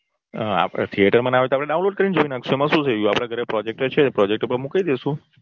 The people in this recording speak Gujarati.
theater માં ના હોય તો download કરીને જોઈ નાખશું એમાં શું થઇ ગયું. આપડે ઘરે projector છે projector ઉપર મુકાઈ દઈશું